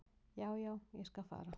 """Já, já, ég skal fara."""